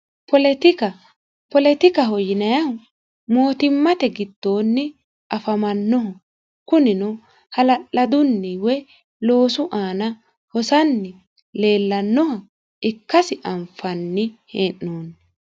poletika poletikaho yinayihu mootimmate giddoonni afamannoho kunino hala'ladunni woy loosu aana hosanni leellannoha ikkasi anfanni hee'noonni